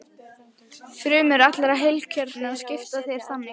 Frumur allra heilkjörnunga skipta sér þannig.